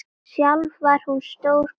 Sjálf var hún stór kona.